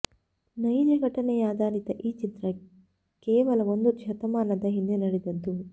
ನೈಜ ಘಟನೆಯಾಧಾರಿತ ಈ ಚಿತ್ರ ಕೇವಲ ಒಂದು ಶತಮಾನದ ಹಿಂದೆ ನಡೆದದ್ದು